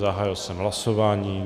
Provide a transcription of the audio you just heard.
Zahájil jsem hlasování.